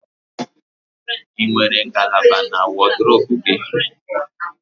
Ị nwere ngalaba na wọdụrobu gị?